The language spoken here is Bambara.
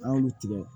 An y'olu tigɛ